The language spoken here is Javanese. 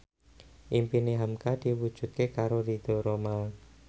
impine hamka diwujudke karo Ridho Roma